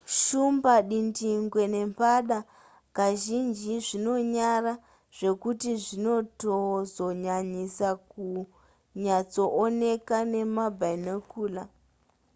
shumba dindingwe nembada kazhinji zvinonyara zvekuti zvinotozonyanyisa kunyatsooneka nemabinocular